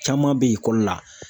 Caman bɛ ekɔli la.